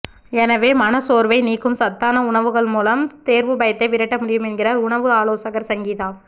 எனவே மனச்சோர்வை நீக்கும் சத்தான உணவுகள் மூலம் தேர்வு பயத்தை விரட்ட முடியும் என்கிறார் உணவு ஆலோசகர் சங்கீதா